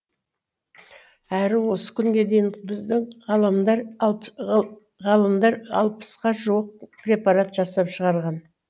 әрі осы күнге дейін біздің ғалымдар алпысқа жуық препарат жасап шығарған